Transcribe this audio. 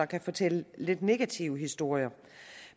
kan fortælle lidt negative historier